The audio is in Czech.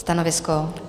Stanovisko?